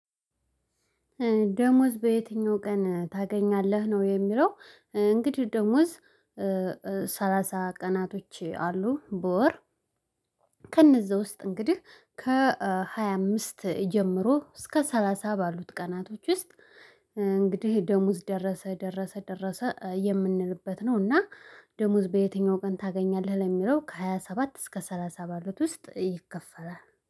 ደሞዝ በየትኛው ቀን ታገኛለህ ነው የሚለው? እንግዲህ ደሞዝ ሰላሳ ቀናቶች አሉ በወር። ከነዛ ውስጥ እንግዲህ ከሃያ አምስት ጀምሮ እስከ ሰላሳ ባሉት ቀናቶች ውስጥ። እንግዲህ ደሞዝ ደረሰ ደረሰ ደረሰ የምንልበት ነው። እና ደሞዝ በየትኛው ቀን ታገኛለህ ለሚለው ከሃያ ሰባት እስከ ሰላሳ ባሉት ውስጥ ይከፈላል